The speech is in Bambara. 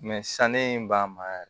san ne b'a mara yɛrɛ